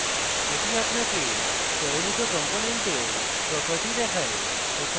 এটি আপনাকে আপনার দ্বারা চয়নিত components properties দেখায়